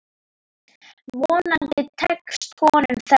Vonandi tekst honum þetta.